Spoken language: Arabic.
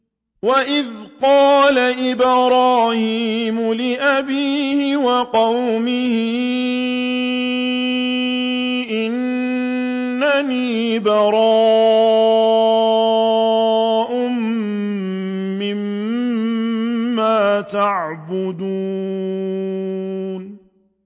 وَإِذْ قَالَ إِبْرَاهِيمُ لِأَبِيهِ وَقَوْمِهِ إِنَّنِي بَرَاءٌ مِّمَّا تَعْبُدُونَ